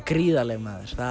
gríðarleg